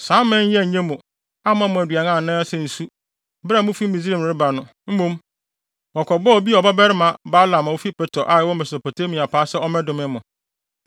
Saa aman yi annye mo, amma mo aduan anaasɛ nsu, bere a mufi Misraim reba no. Mmom, wɔkɔbɔɔ Beor babarima Balaam a ofi Petor a ɛwɔ Mesopotamia paa sɛ ɔmmɛdome mo.